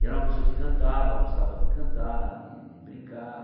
E era uma pessoa que cantava, gostava de cantar, de de brincar.